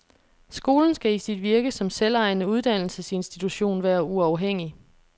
Skolen skal i sit virke som selvejende uddannelsesinstitution være uafhængig.